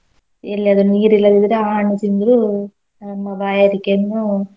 ಎಲ್ಲಿಯಾದ್ರು ನೀರ್ ಇಲ್ಲದಿದ್ರೆ ಆ ಹಣ್ಣು ತಿಂದ್ರೂ ತಮ್ಮ ಬಾಯಾರಿಕೆಯನ್ನು.